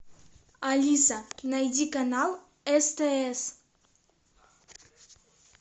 алиса найди канал стс